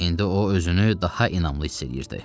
İndi o özünü daha inamlı hiss edirdi.